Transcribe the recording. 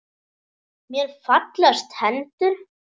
Mér fallast hendur.